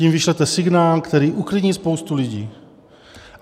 Tím vyšlete signál, který uklidní spoustu lidí.